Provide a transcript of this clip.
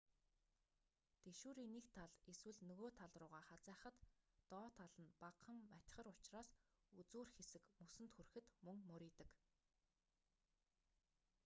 тэшүүрийн нэг тал эсвэл нөгөө тал руугаа хазайхад доод тал нь багахан матигар учраас үзүүр хэсэг мөсөнд хүрэхэд мөн мурийдаг